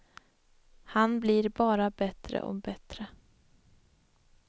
Han blir bara bättre och bättre.